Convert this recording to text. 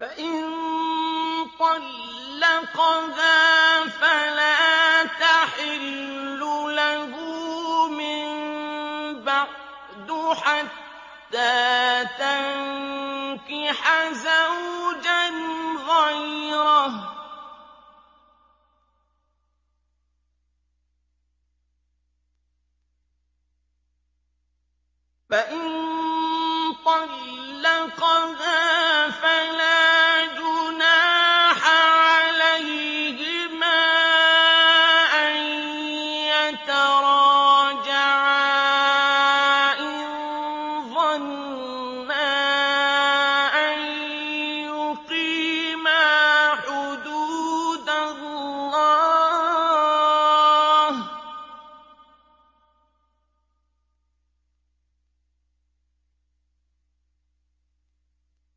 فَإِن طَلَّقَهَا فَلَا تَحِلُّ لَهُ مِن بَعْدُ حَتَّىٰ تَنكِحَ زَوْجًا غَيْرَهُ ۗ فَإِن طَلَّقَهَا فَلَا جُنَاحَ عَلَيْهِمَا أَن يَتَرَاجَعَا إِن ظَنَّا أَن يُقِيمَا حُدُودَ اللَّهِ ۗ